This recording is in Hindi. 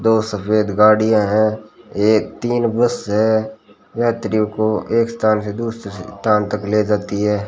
दो सफेद गाड़ियां हैं एक तीन बस है यात्रियों को एक स्थान से दूसरे स्थान तक ले जाती है।